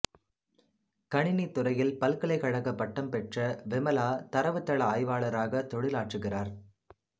கணினித்துறையில் பல்கலைக்கழகப் பட்டம் பெற்ற விமலா தரவுத்தள ஆய்வாளராகத் தொழிலாற்றுகிறார்